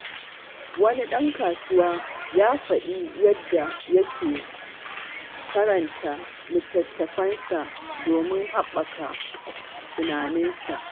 Wani ɗan kasuwa ya faɗi yadda yake karanta littattafai don haɓaka tunaninsa.